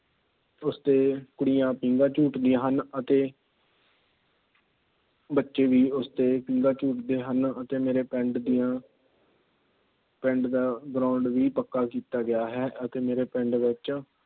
ਉਸਤੇ ਕੁੜੀਆਂ ਪੀਂਘਾਂ ਝੂਟ ਦੀਆ ਹਨ। ਅਤੇ ਬੱਚੇ ਵੀ ਉਸਤੇ ਪੀਂਘਾਂ ਝੂਟਦੇ ਹਨ। ਅਤੇ ਮੇਰੇ ਪਿੰਡ ਦੀਆਂ ਪਿੰਡ ਦਾ Ground ਵੀ ਪੱਕਾ ਕੀਤਾ ਗਿਆ ਹੈ। ਅਤੇ ਮੇਰੇ ਪਿੰਡ ਵਿੱਚ